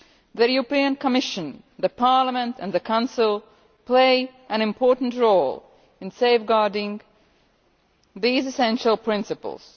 The Commission, Parliament and the Council play an important role in safeguarding these essential principles.